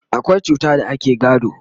akwai cuta da ake gado